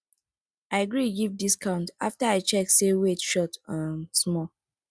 i gree give discount after i check say weight short um small